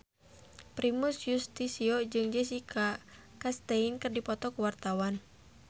Primus Yustisio jeung Jessica Chastain keur dipoto ku wartawan